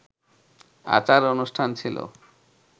আচার-অনুষ্ঠান ছিল